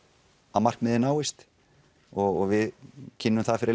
að markmiðið náist og við kynnum það fyrir